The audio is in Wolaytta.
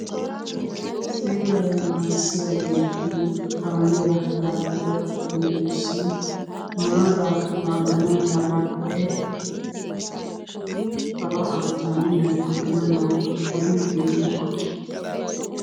Seeraa naagissiyageeti kaamiya laaggiyageetussi maara laaggana malanne palahaa caanennana aggana mala odiidde diyonaa?